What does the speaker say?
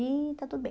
E está tudo bem.